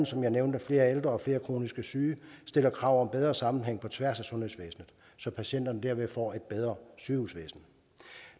som jeg nævnte flere ældre og flere kronisk syge stiller krav om bedre sammenhæng på tværs af sundhedsvæsenet så patienterne derved får et bedre sygehusvæsen